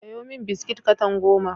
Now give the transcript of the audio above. Sayo min biskit katan goma.